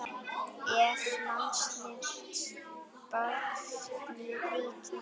Ef. lands barns ríkis